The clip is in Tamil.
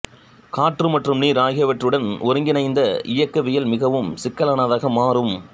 காற்று மற்றும் நீர் ஆகியவற்றுடன் ஒருங்கிணைந்த இயக்கவியல் மிகவும் சிக்கலானதாக மாறும்